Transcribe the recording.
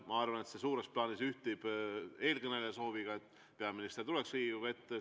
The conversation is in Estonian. Ma arvan, et see suures plaanis ühtib eelkõneleja sooviga, et peaminister tuleks Riigikogu ette.